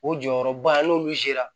O jɔyɔrɔba n'olu yera